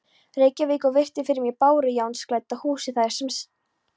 Reykjavík og virti fyrir mér bárujárnsklædda húsið þar sem